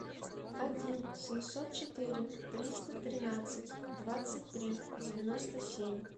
один семьсот четыре триста тринадцать двадцать три девяносто семь